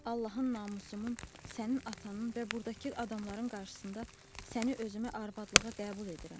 Allahın namusumun, sənin atanın və burdakı adamların qarşısında səni özümə arvadlığa qəbul edirəm.